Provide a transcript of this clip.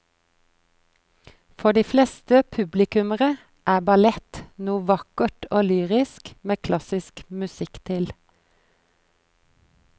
For de fleste publikummere er ballett noe vakkert og lyrisk med klassisk musikk til.